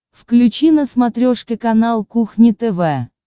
включи на смотрешке канал кухня тв